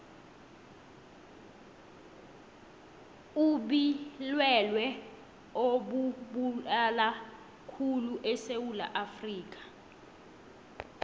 ubilwelwe obubulalakhulu esewula afrikha